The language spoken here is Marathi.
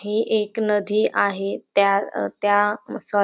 हे एक नदी आहे त्या अं त्या म सॉ--